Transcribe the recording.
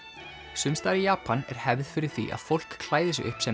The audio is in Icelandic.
sums staðar í Japan er hefð fyrir því að fólk klæði sig upp sem